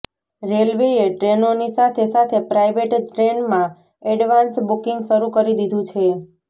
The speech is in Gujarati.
રેલવેએ ટ્રેનોની સાથે સાથે પ્રાઇવેટ ટ્રેનમાં એડવાન્સ બુકીંગ શરૂ કરી દીધું છે